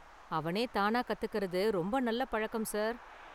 அவனே தானா கத்துக்கிறது ரொம்ப நல்ல பழக்கம், சார்.